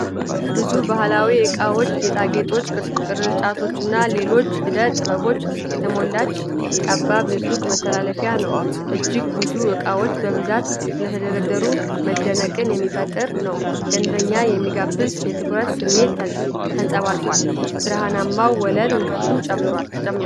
ብዙ ባህላዊ እቃዎች፣ ጌጣጌጦች፣ ቅርጫቶችና ሌሎች ዕደ-ጥበባት የተሞላች ጠባብ የሱቅ መተላለፊያ ነው። እጅግ ብዙ እቃዎች በብዛት ስለተደረደሩ መደነቅን የሚፈጥር ነው፣ ደንበኛን የሚጋብዝ የትኩረት ስሜት ተንጸባርቋል። ብርሃናማው ወለል ውበቱን ጨምሮታል።